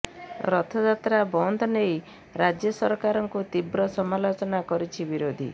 ରଥଯାତ୍ରା ବନ୍ଦ ନେଇ ରାଜ୍ୟ ସରକାରଙ୍କୁ ତୀବ୍ର ସମାଲୋଚନା କରିଛି ବିରୋଧୀ